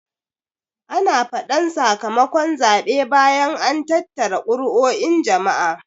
Ana faɗan saka makon zaɓe bayan an tattara kuruo'in jama'a